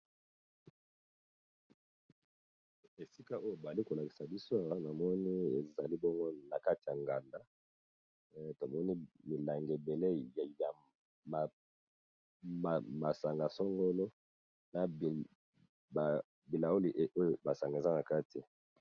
Esika oyo bayali kolakisa bisawa namoni ezali bongo na kati ya nganda tomoni milangi ebele ya masanga songolo na bilauli oyo masanga eza na kati.